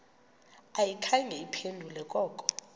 ayikhange iphendule koko